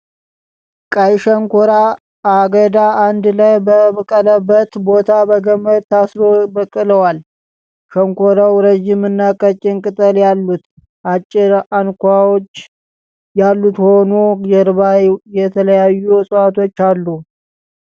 ቀይ ሸንኮር አገዳ አንድ ላይ በበቀለበት ቦታ በገመድ ታስረዉ በቅለዋል። ሸንኮራዉ ረዥምና ቀጭን ቅጠል አሉት። አጭር አንኳዎች ያሉት ሆኖ ጀርባ የተለያዩ እፅዋቶች አሉ።